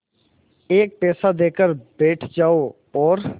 एक पैसा देकर बैठ जाओ और